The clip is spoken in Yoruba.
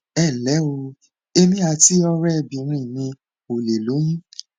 ẹ nlẹ o èmi àti ọrẹbìnrin mi ò lè lóyún